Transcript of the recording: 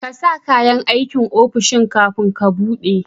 ƙasa kayan aikin ofishin kafin ka buɗe